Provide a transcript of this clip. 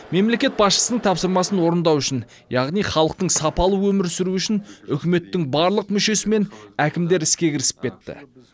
мемлекет басшысының тапсырмасын орындау үшін яғни халықтың сапалы өмір сүруі үшін үкіметтің барлық мүшесі мен әкімдер іске кірісіп кетті